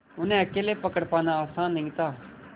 उन्हें अकेले पकड़ पाना आसान नहीं था